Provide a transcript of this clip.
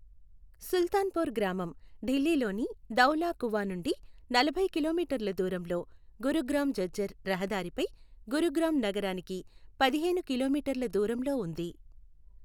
సుల్తాన్పూర్ గ్రామం ఢిల్లీలోని ధౌలా కువా నుండి నలభై కిలోమీటర్ల దూరంలో, గురుగ్రామ్ ఝజ్జర్ రహదారిపై గురుగ్రామ్ నగరానికి పదిహేను కిలోమీటర్ల దూరంలో ఉంది.